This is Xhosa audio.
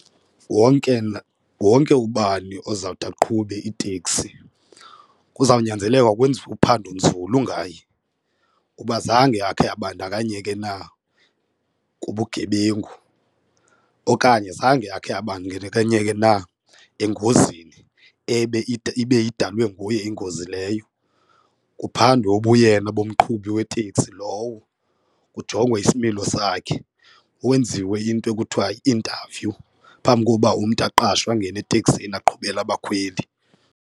Wonke wonke ubani ozawuthi aqhube iiteksi kuzawunyanzeleka kwenziwe uphando nzulu ngaye uba zange akhe abandakanyeke na kubugebengu, okanye zange akhe abandakanyeke na engozini ibe idalwe nguye ingozi leyo. Kuphandwe ubuyena bomqhubi weteksi lowo, kujongwe isimilo sakhe kwenziwe into ekuthiwa yi-interview phambi koba umntu aqashwe angene eteksini aqhubele abakhweli.